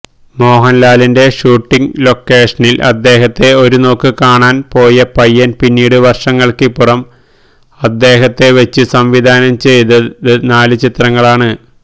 മോഹൻലാലിന്റെ ഷൂട്ടിങ് ലൊക്കേഷനിൽ അദ്ദേഹത്തെ ഒരുനോക്ക് കാണാൻ പോയ പയ്യൻ പിന്നീട് വർഷങ്ങൾക്കിപ്പുറം അദ്ദേഹത്തെവെച്ച് സംവിധാനം ചെയ്തത് നാല് ചിത്രങ്ങളാണ്